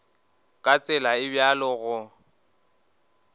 ka tsela e bjalo go